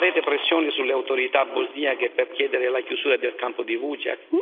Farete pressioni sulle autorità bosniache per chiedere la chiusura del campo di Vučjak?